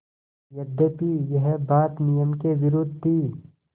यद्यपि यह बात नियम के विरुद्ध थी